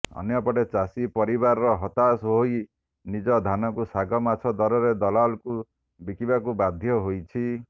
ଅନ୍ୟପଟେ ଚାଷୀ ପରିବାର ହତାଶ ହୋଇ ନିଜ ଧାନକୁ ଶାଗ ମାଛ ଦରରେ ଦଲାଲକୁ ବିକିବାକୁ ବାଧ୍ୟ ହୋଇଛି